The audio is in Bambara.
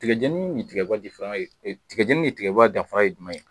Tigɛjɛnii ni tigɛba tigɛ tigɛba difaŋa ye d tigɛjɛni ni tigɛba danfaa ye jumɛn ye?